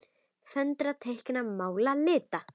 Föndra- teikna- mála- lita